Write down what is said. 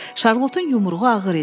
Şarlotun yumruğu ağır idi.